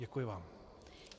Děkuji vám.